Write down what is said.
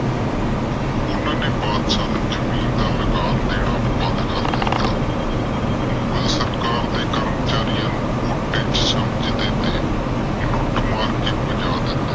ਓਹਨਾ ਨੇ ਬਾਦਸ਼ਾਹ ਨੂੰ ਜਮੀਨ ਦਾ ਲਗਾਨ ਦੇਣਾ ਬੰਦ ਕਰ ਦਿਤਾ। ਮੁਗ਼ਲ ਸਰਕਾਰ ਦੇ ਕਰਮਚਾਰੀਆਂ ਨੂੰ ਸਮਝ ਦੇ ਤੇ ਲੁੱਟ ਮਾਰ ਕੇ ਭਜਾ ਦਿੰਦੇ।